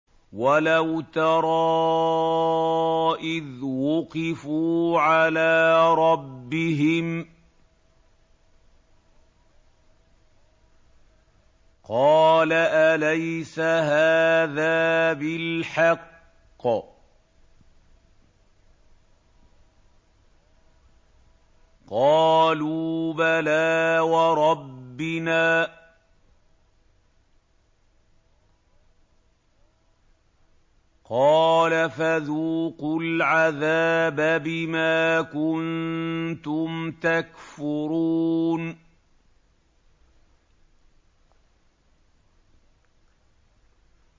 وَلَوْ تَرَىٰ إِذْ وُقِفُوا عَلَىٰ رَبِّهِمْ ۚ قَالَ أَلَيْسَ هَٰذَا بِالْحَقِّ ۚ قَالُوا بَلَىٰ وَرَبِّنَا ۚ قَالَ فَذُوقُوا الْعَذَابَ بِمَا كُنتُمْ تَكْفُرُونَ